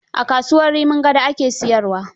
A kasuwar Rimin Gado ake siyarwa.